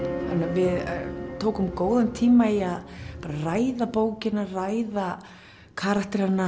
við tókum góðan tíma í að ræða bókina ræða karakterana